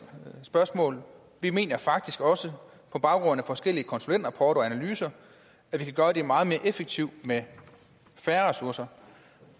spørgsmål at vi mener faktisk også på baggrund af forskellige konsulentrapporter og analyser at vi kan gøre det meget mere effektivt med færre ressourcer